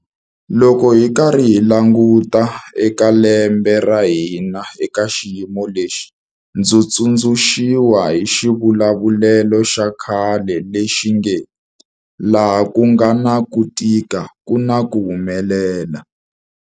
Loko hi karhi hi languta eka lembe ra hina eka xiyimo lexi, ndzi tsundzuxiwa hi xivulavulelo xa khale lexi nge 'laha ku nga na ku tika ku na ku humelela'.